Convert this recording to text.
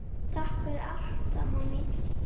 Takk fyrir allt, amma mín.